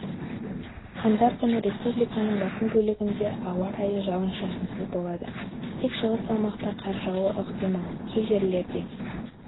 қаңтар күні республиканың басым бөлігіндеауа райы жауын-шашынсыз болады тек шығыс аумақта қар жаууы ықтимал кей жерлерде